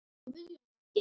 Guðjón Ingi.